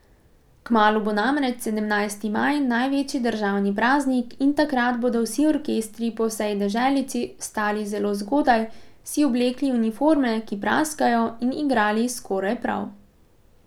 Kmalu bo namreč sedemnajsti maj, največji državni praznik in takrat bodo vsi orkestri po vsej deželici vstali zelo zgodaj, si oblekli uniforme, ki praskajo, in igrali skoraj prav.